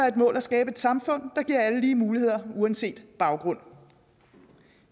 et mål at skabe et samfund der giver alle lige muligheder uanset baggrund